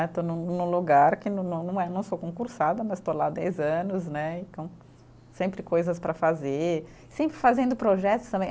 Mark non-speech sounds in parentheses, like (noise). (unintelligible) Estou num num lugar que não não é, não sou concursada, mas estou lá há dez anos né, então sempre coisas para fazer, sempre fazendo projetos também.